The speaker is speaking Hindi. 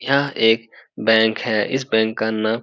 यहां एक बैंक है इस बैंक का नाम --